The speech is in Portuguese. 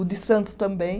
O de Santos também.